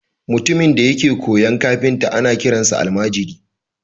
Mutumin da yake koyon kafinta ana kiransa almajiri